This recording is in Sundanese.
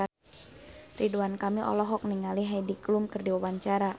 Ridwan Kamil olohok ningali Heidi Klum keur diwawancara